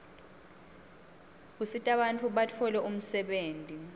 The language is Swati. usitabantfu batfole umsebtniti